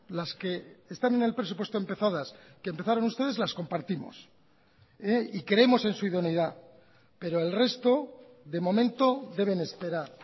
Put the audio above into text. las que están en el presupuesto empezadas que empezaron ustedes las compartimos y creemos en su idoneidad pero el resto de momento deben esperar